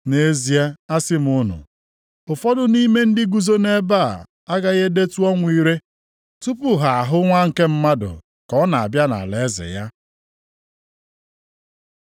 “Nʼezie asị m unu, ụfọdụ nʼime ndị guzo nʼebe, agaghị edetụ ọnwụ ire, tụpụ ha ahụ Nwa nke Mmadụ ka ọ na-abịa nʼalaeze ya.”